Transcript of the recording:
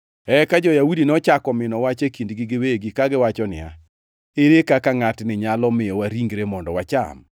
Eka jo-Yahudi nochako mino wach e kindgi giwegi, kagiwacho niya, “Ere kaka ngʼatni nyalo miyowa ringre mondo wacham?”